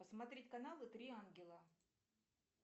посмотреть каналы три ангела